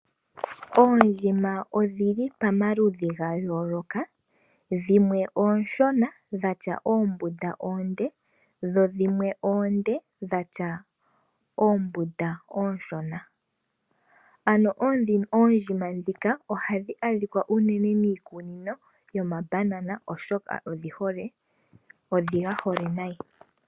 Oondjima odhili pamaludhi ga yooloka. Dhimwe oonshona dhatya oombunda oonde dho dhimwe oonde dhatya oombunda oonshona. Ano oondjima ndhika ohadhi adhikwa miikunino yomabanana oshoka odhi gahole unene.